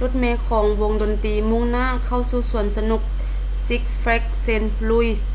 ລົດເມຂອງວົງດົນຕີມຸ່ງໜ້າເຂົ້າສູ່ສວນສະໜຸກ ຊິກສ໌ ແຟຼກສ໌ ເຊນທ໌ ລຸຍສ໌ six flags st.